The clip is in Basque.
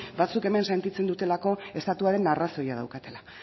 batzuek hemen sentitzen dutelako estatuaren arrazoia daukatela